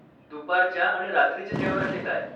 दुपारच्या आणि रात्रीच्या जेवणाचे काय?